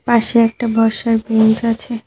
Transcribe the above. পাশে একটা বসার বেঞ্চ আছে।